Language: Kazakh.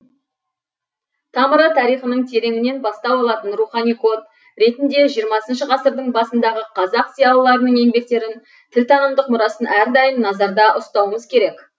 тамыры тарихының тереңінен бастау алатын рухани код ретінде жиырмасыншы ғасырдың басындағы қазақ зиялыларының еңбектерін тілтанымдық мұрасын әрдайым назарда ұстауымыз керек